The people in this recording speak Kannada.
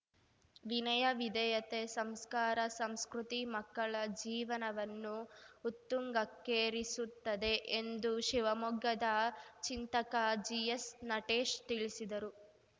ವಿನಯ ವಿಧೇಯತೆ ಸಂಸ್ಕಾರ ಸಂಸ್ಕೃತಿ ಮಕ್ಕಳ ಜೀವನವನ್ನು ಉತ್ತುಂಗಕ್ಕೇರಿಸುತ್ತದೆ ಎಂದು ಶಿವಮೊಗ್ಗದ ಚಿಂತಕ ಜಿಎಸ್‌ನಟೇಶ್‌ ತಿಳಿಸಿದರು